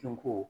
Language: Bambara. Sinko